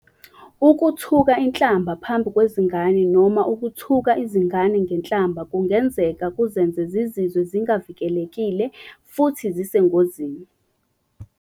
Ukuthuka inhlamba phambi kwezingane noma ukuthuka izingane ngenhlamba kungenzeka kuzenze zizizwe zingavikelekile futhi zisengozini.